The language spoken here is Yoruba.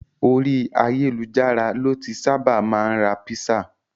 Ori ayelujara lo ti saba maa n ra pisa